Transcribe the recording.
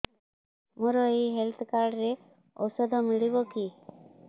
ମୋର ଏଇ health card ରେ ଔଷଧ ମିଳିବ କି